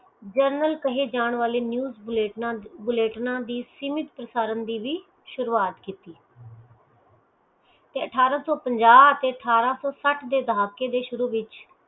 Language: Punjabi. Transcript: ਜਨਰਲ ਕਹੇ ਜਾਨ ਵਾਲੇ news ਬੁਲੇਟਣਾ ਦੀ ਸੀਮਿਤ ਪਸਾਰਨ ਦੀ ਵੀ ਸ਼ੁਰੂਆਤ ਕੀਤੀ ਤੇ ਅਠਾਰਾਂ ਸੋ ਪੰਜਾਹ ਤੇ ਅਠਾਰਾਂ ਸੋ ਸੱਠ ਦੇ ਦਹਾਕੇ ਵਿਚ